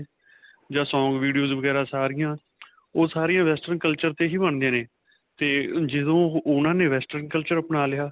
ਜਾਂ song videos ਵਗੈਰਾ ਸਾਰਿਆਂ ਓਹ ਸਾਰਿਆਂ western culture 'ਤੇ ਹੀ ਬਣਦੀਆਂ ਨੇ 'ਤੇ ਜਦੋਂ ਉਨ੍ਹਾਂ ਨੇ western culture ਆਪਣਾ ਲਿਆ.